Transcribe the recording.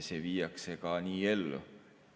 See viiakse ka nii ellu.